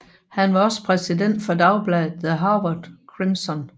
Han var også præsident for dagbladet The Harvard Crimson